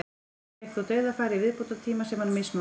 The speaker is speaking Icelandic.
Fékk þó dauðafæri í viðbótartíma sem hann misnotaði.